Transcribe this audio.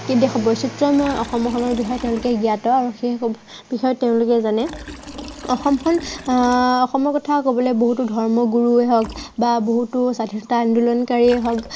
কিন্তু বৈচিত্য়ময় অসমখনৰ বিষয়ে তেওঁলোক জ্ঞাত আৰু সেই বিষয়ত তেওঁলোকে জানে। অসমখন আহ অসমৰ কথা কবলৈ বহুতো ধৰ্ম গুৰুৱে হওঁক বা বহুতো স্বাধীনতা আন্দোলনকাৰীয়েে হওক